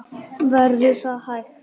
Verður það hægt?